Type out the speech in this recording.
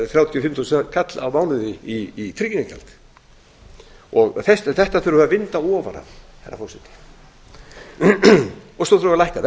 þrjátíu og fimm þúsund kall á mánuði í tryggingagjald ofan af þessu þurfum við að vinda herra forseti svo þurfum við að lækka